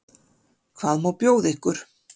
Hvað má bjóða ykkur?